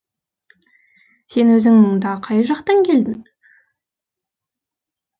сен өзің мұнда қай жақтан келдің